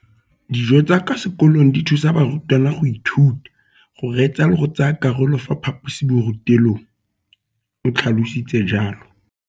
Dijo tsa kwa sekolong dithusa barutwana go ithuta, go reetsa le go tsaya karolo ka fa phaposiborutelong, o tlhalositse jalo.